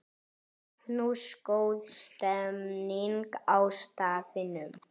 Magnús: Góð stemning á staðnum?